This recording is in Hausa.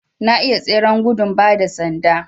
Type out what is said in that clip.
Na iya tseren gudun ba da sanda